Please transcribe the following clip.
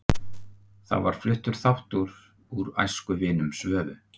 Þá var fluttur þáttur úr Æskuvinum Svövu